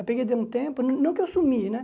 Aí peguei dei um tempo, não não que eu sumi, né?